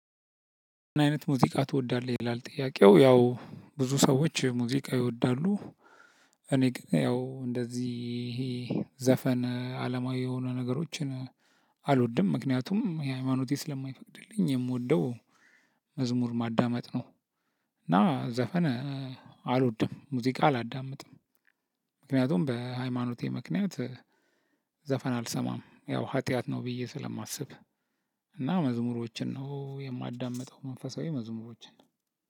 አይነት ሙዚቃ ትወዳለህ ይላል ጥያቄው ያው ብዙ ሰዎች ሙዚቃ ይወዳሉ። እኔ ግን ያው እንደዚህ ይሄ ዘፈን አለማዊ የሆኑ ነገሮችን አልወድም። ምክንያቱም ይሄ ሃይማኖቴ ስለማይፈቅድልኝ የምወደው መዝሙር ማዳመጥ ነው። እና ዘፈን አልወድም ሙዚቃ አላዳምጥም። ምክንያቱም በሃይማኖቴ ምክንያት ዘፈን አልሰማም ያው ኃጢአት ነው ብዬ ስለማስብ። እና መዝሙሮችን ነው የማዳምጠው መንፈሳዊ መዝሙሮችን።